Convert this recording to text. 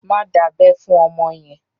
Má dábẹ́ fún ọmọ yẹn!